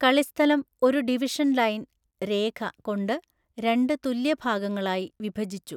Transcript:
കളിസ്ഥലം ഒരു division line) കൊണ്ട് രണ്ട് തുല്യ ഭാഗങ്ങളായി വിഭജിച്ചു.